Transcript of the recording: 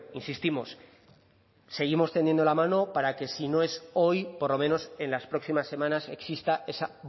insistimos seguimos tendiendo la mano para que si no es hoy por lo menos en las próximas semanas exista esa